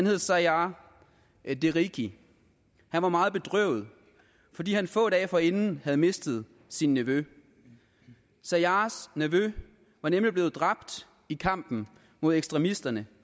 hed saiar deriki han var meget bedrøvet fordi han få dage forinden havde mistet sin nevø saiars nevø var nemlig blevet dræbt i kampen mod ekstremisterne